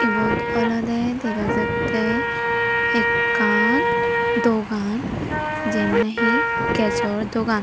ibot olodey dega jattey ekkan dogan jen nahi gasor dogan.